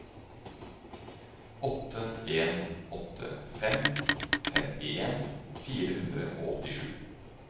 åtte en åtte fem femtien fire hundre og åttisju